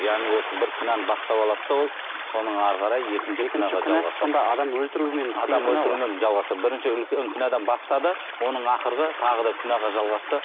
яғни осы бір күнәні бастап алады да ол соның әрі қарай екінші күнә адам өлтірумен жалғасты бірінші үлкен күнәдан бастады оның ақырғы тағы да күнәға жалғасты